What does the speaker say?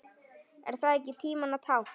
Er það ekki tímanna tákn?